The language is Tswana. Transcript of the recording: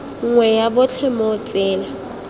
nngwe ya botlhe mo tsela